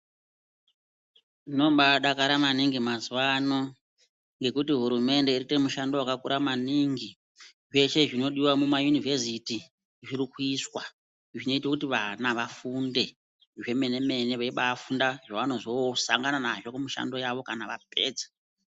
Tinombadakara maningi mazuwano ngekuti hurumende iri kuite mushando wakakura maningi. Zveshe zvinodiwa mumayunivheziti zviri kuiswa zvinoite kuti vana vafunde zvemene mene veibafunda zvavanozosangana nazvo mumishando yavo kana vapedza.